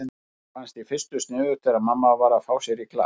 Mér fannst í fyrstu sniðugt þegar mamma var að fá sér í glas.